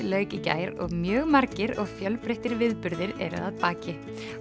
lauk í gær og mjög margir og fjölbreyttir viðburðir eru að baki